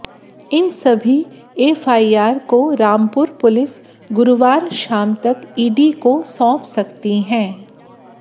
इन सभी एफआईआर को रामपुर पुलिस गुरुवार शाम तक ईडी को सौंप सकती है